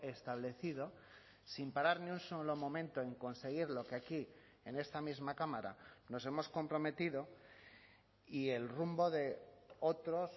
establecido sin parar ni un solo momento en conseguir lo que aquí en esta misma cámara nos hemos comprometido y el rumbo de otros